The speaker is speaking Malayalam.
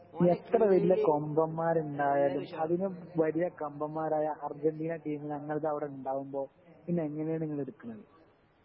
എത്ര വലിയ കൊമ്പൻ മാരുണ്ടായാലും അതിനും വലിയ കൊമ്പൻമാരായ അർജന്റീന ടീമ് ഞങ്ങളുടേത് അവിടെ ഉണ്ടാകുമ്പോ പിന്നെ എങ്ങനാണ് ഇങ്ങള് എടുക്കുന്നത്